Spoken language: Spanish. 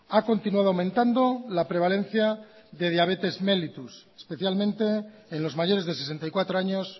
ha continuado aumentando la prevalencia de diabetes mellitus especialmente en los mayores de sesenta y cuatro años